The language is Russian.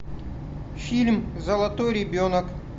фильм золотой ребенок